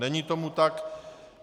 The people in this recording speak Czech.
Není tomu tak.